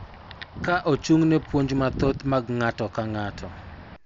Ka ochung�ne puonj mathoth mag ng�ato ka ng�ato,